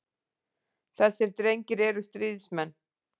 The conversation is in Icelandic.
Þessir drengir eru stríðsmenn.